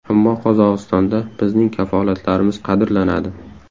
Ammo Qozog‘istonda bizning kafolatlarimiz qadrlanadi.